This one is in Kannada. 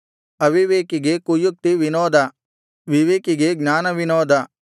ಅವಿವೇಕಿಗೆ ಕುಯುಕ್ತಿ ವಿನೋದ ವಿವೇಕಿಗೆ ಜ್ಞಾನ ವಿನೋದ